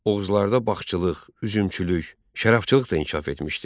Oğuzlarda bağçılıq, üzümçülük, şərabçılıq da inkişaf etmişdi.